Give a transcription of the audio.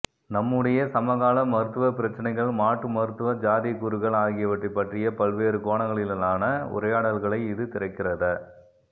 நம்முடைய சமகால மருத்துவப்பிரச்சினைகள் மாற்றுமருத்துவச் சாத்தியக்கூறுகள் ஆகியவற்றைப் பற்றிய பல்வேறு கோணங்களிலான உரையாடல்களை இது திறக்கிறத